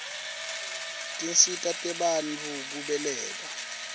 tinsita tebantfu kubeleka